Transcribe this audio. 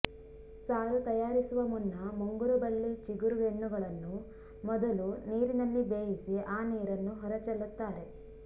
ಸಾರು ತಯಾರಿಸುವ ಮುನ್ನ ಮುಂಗುರುಬಳ್ಳಿ ಚಿಗುರು ಗೆಣ್ಣುಗಳನ್ನು ಮೊದಲು ನೀರಿನಲ್ಲಿ ಬೇಯಿಸಿ ಆ ನೀರನ್ನು ಹೊರ ಚೆಲ್ಲುತ್ತಾರೆ